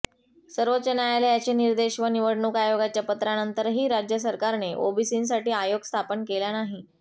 सर्वोच्च न्यायालयाचे निर्देश व निवडणूक आयोगाच्या पत्रानंतरही राज्य सरकारने ओबीसींसाठी आयोग स्थापन केला नाही